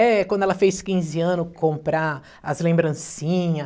É quando ela fez quinze anos comprar as lembrancinha.